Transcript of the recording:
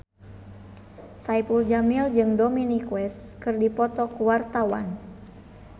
Saipul Jamil jeung Dominic West keur dipoto ku wartawan